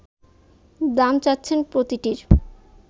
দাম চাচ্ছেন প্রতিটির